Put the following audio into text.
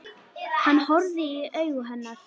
Hann horfði í augu hennar.